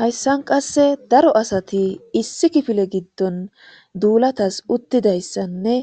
hayssan qasse daro asati issi kifile giddon duulatas uttidayssanne